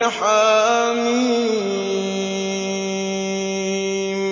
حم